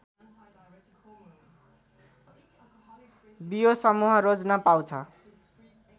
बियो समूह रोज्न पाउँछ